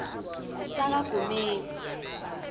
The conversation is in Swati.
sakagumedze